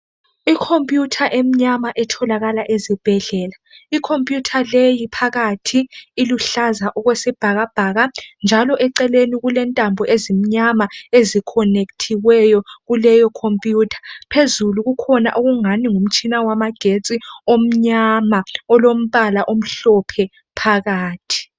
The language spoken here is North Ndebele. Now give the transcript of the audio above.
Ikhompuyutha emnyama etholakala ezibhedlela. Ikhompuyutha leyi phakathi iluhlaza okwesibhakabhaka, njalo eceleni kulentambo ezimnyama ezikhonekthiweyo kuleyo khompuyutha. Phezulu kukhona okungani ngumtshina wamagetsi omnyama olombala omhlophe phakathi.